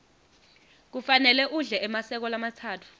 kufanele udle emaseko lamatsatfu